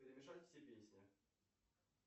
перемешать все песни